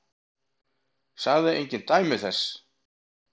Sagði engin dæmi þess.